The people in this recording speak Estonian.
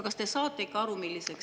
Kas te saate ikka aru, milliseks …